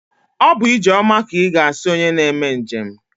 Ọ bụ ijeoma ka ịga asị onye na-eme njem?